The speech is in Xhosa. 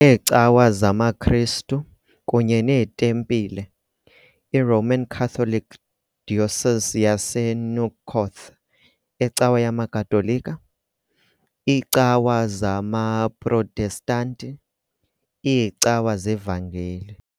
Neecawa zamaKristu kunye neetempile - I-Roman Catholic Diocese yaseNouakchott, iCawa yamaKatolika, iicawa zamaProtestanti, iiCawa zeVangeli.